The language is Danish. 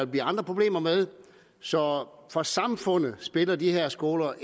blive andre problemer med så for samfundet spiller de her skoler